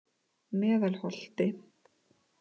Meðalholti